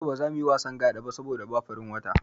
Yau ba za muyi wasan Gaɗa ba saboda babu farin wata.